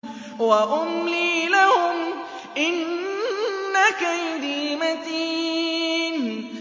وَأُمْلِي لَهُمْ ۚ إِنَّ كَيْدِي مَتِينٌ